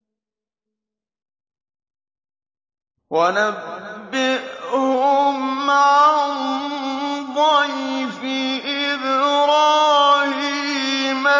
وَنَبِّئْهُمْ عَن ضَيْفِ إِبْرَاهِيمَ